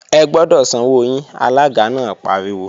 Ẹ gbọ́dọ̀ sanwó yín! Alága náà pariwo